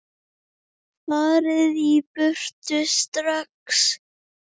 FARIÐ Í BURTU STRAX!